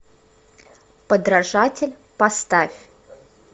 подражатель поставь